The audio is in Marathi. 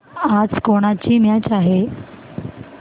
आज कोणाची मॅच आहे